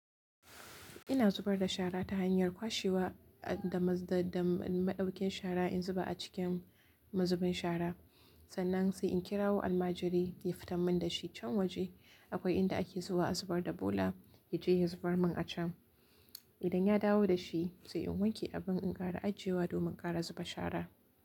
Ina zubar da shara ta hanyar kwashewa da, da, da maɗaukin shara in zuba a cikin mazubin shara. Sannan sai in kirawo almajiri ya fita mun da shi can waje. Akwai inda ake zuwa a zubar da bola yaje ya zubar mun a can. Idan ya dawo da shi sai in wanke abun in ƙara ajiyewa domin ƙara zuba shara.